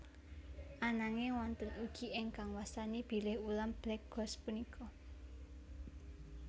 Ananging wonten ugi ingkang wastani bilih ulam black ghost punika